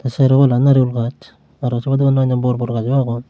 te sero pala narigul gaz araw se badeyo unno anno bor bor gaz o agon.